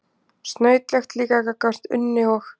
Snautlegt líka gagnvart Unni og